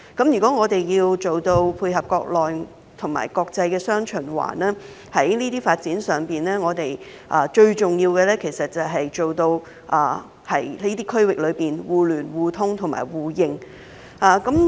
如果我們要做到配合國內及國際雙循環，在這些發展上，最重要就是在這些區域內達致互聯互通互認。